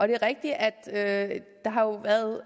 det er rigtigt at